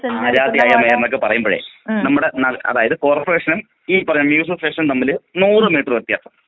ആരാധ്യയായ mayor എന്നൊക്കെ പറയുമ്പോഴേ നമ്മടെ അതായത് കോർപ്പറേഷനും ഈ പറ നോട്ട്‌ ക്ലിയർ അസോസിയേഷനും തമ്മില് നൂറ് മീറ്റർ വ്യത്യാസമുണ്ട്.